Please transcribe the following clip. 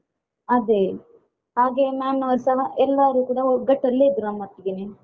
ಅದೇ ಹಾಗೆ ma'am ನವರುಸ ಎಲ್ಲರೂ ಕೂಡ ಒಗ್ಗಟಲ್ಲೇ ಇದ್ರು ನಮ್ಮೊಟ್ಟಿಗೆನೇ.